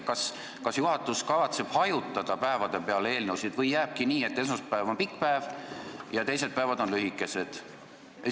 Kas juhatus kavatseb eelnõud töönädala päevade peale hajutada või jääbki nii, et esmaspäev on pikk päev ja teised päevad on lühikesed?